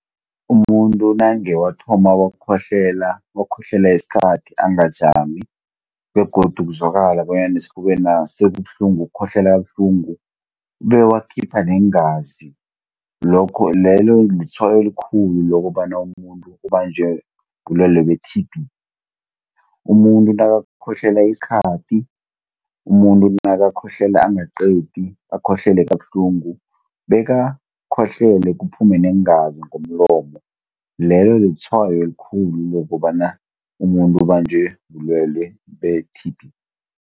Umuntu nange wathoma wakhohlela, wakhohlela isikhathi angajami, begodu kuzwakala bonyana esifubena' sekubuhlungu ukhohlela kabuhlungu, bewakhipha neengazi, lelo litshwayo elikhulu lokobana umuntu ubanjwe bulwelwe be-T_B. Umuntu nakakhohlela isikhathi, umuntu nakakhohlela angaqedi, akhohlele kabuhlungu, bekakhohlele kuphume neengazi ngomlomo, lelo listhwayo elikhulu lokobana umuntu ubanjwe bulwelwe be-T_B.